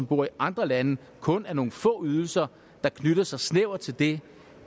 bor i andre lande kun er nogle få ydelser der knytter sig snævert til det